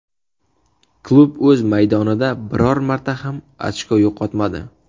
Klub o‘z maydonida biror marta ham ochko yo‘qotmadi.